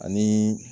Ani